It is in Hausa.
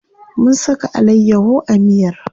Mun saka alayyaho a miyar.